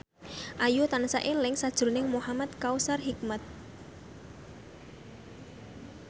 Ayu tansah eling sakjroning Muhamad Kautsar Hikmat